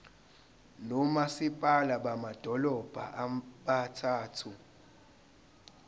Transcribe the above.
nomasipala bamadolobha abathathu